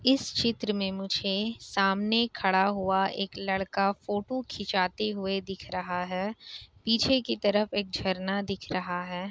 इस चित्र में मुझे सामने खड़ा हुआ लड़का फोटो खींचाते हुए दिख रहा है पीछे की तरफ एक झारना दिख रहा है।